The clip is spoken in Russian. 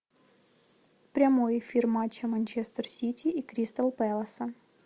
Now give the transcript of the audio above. прямой эфир матча манчестер сити и кристал пэласа